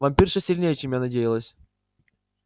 вампирша сильнее чем я надеялась